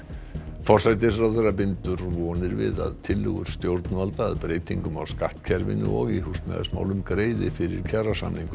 forsætisráðherra bindur vonir við að tillögur stjórnvalda að breytingum á skattkerfinu og í húsnæðismálum greiði fyrir kjarasamningum